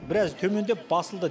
біраз төмендеп басылды